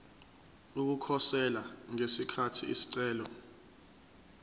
ukukhosela ngesikhathi isicelo